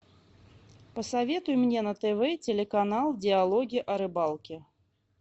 посоветуй мне на тв телеканал диалоги о рыбалке